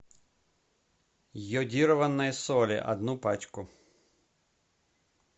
йодированная соль одну пачку